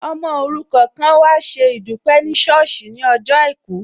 Ọmọ òrukàn kan an wá ṣe ìdúpẹ́ ní ṣọ́ọ̀sì ní ọjọ́ àìkú